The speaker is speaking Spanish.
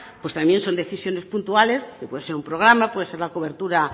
pues también son decisiones puntuales que puede ser un programa puede ser la cobertura